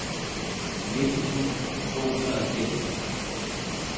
nitten tusind to hundrede og nitten